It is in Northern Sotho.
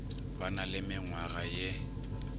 ba na le menngwaga ye